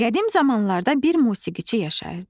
Qədim zamanlarda bir musiqiçi yaşayırdı.